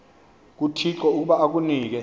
kuthixo ukuba akunike